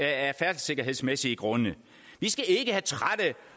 af færdselssikkerhedsmæssige grunde vi skal ikke have trætte